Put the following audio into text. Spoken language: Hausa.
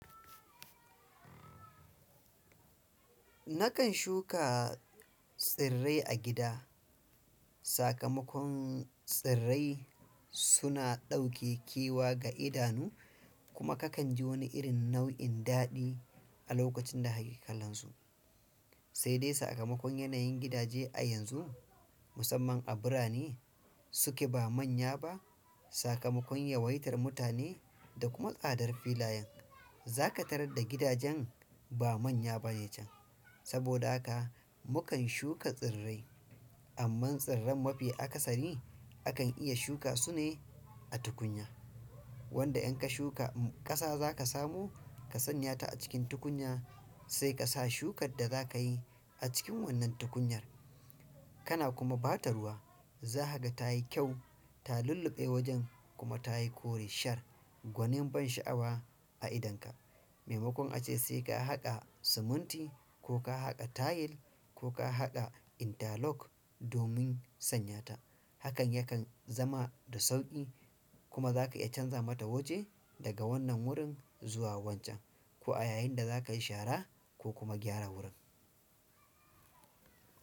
Nakan shuka tsirrai a gida. Sakamakon tsirrai suna ɗauke kewa ga idanu kuma kakan ji wani irin nau'in daɗi a lokacin da hakikalansu. Sai dai sakamakon yanayin gidaje a yanzu musamman a birane suke ba manya ba, sakamakon yawaitar mutane da kuma tsadar filayen za ka tarar da gidajen ba manya bane can. Saboda haka mukan shuka tsirrai. Amma tsirran mafi akasari a kan iya shuka sune a tukunya. Wanda in ka shuka um ƙasa za ka samu ka sanya ta a cikin tukunya sai ka sa shukar da za ka yi a cikin wannan tukunyar. Kana kuma ba ta ruwa. Za hakaga ta yi kyau, ta lulluɓe wajen kuma ta yi kore shar. Gwanin ban sha'awa a idonka. Maimakon ace sai ka haƙa siminti ko ka haƙa tayil ko ka haƙa interlock domin sanya ta. Hakan yakan zama da sauƙi kuma za ka iya canza mata waje daga wannan wurin zuwa wancan. Ko a yayin da za ka yi shara ko kuma gyara wurin.